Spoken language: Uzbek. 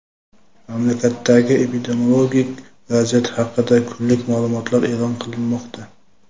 mamlakatdagi epidemiologik vaziyat haqida kunlik ma’lumotlar e’lon qilinmoqda.